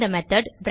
இந்த மெத்தோட்